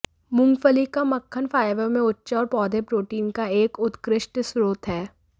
मूंगफली का मक्खन फाइबर में उच्च है और पौधे प्रोटीन का एक उत्कृष्ट स्रोत है